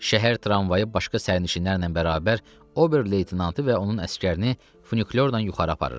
Şəhər tramvayı başqa sərnişinlərlə bərabər Oberleytenantı və onun əsgərini funikulyorla yuxarı aparırdı.